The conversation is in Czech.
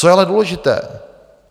Co je ale důležité?